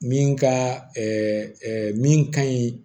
Min ka min ka ɲi